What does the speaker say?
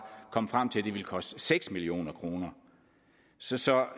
kom frem til at det ville koste seks million kroner så så